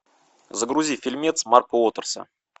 загрузи фильмец марка уотерса